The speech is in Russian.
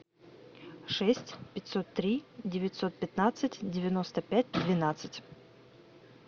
шесть пятьсот три девятьсот пятнадцать девяносто пять двенадцать